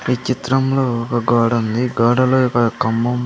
ఈ చిత్రంలో ఒక గోడుంది ఈ గోడలో ఒక కమ్మం --